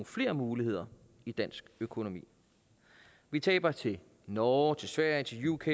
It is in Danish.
flere muligheder i dansk økonomi vi taber til norge til sverige til uk